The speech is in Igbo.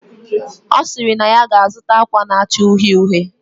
Osiri na ya ga azuta akwa na acha uhie uhie